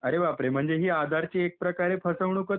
अरे बाप रे म्हणजे हि आधारची एक प्रकारे फसवणूकच आहे.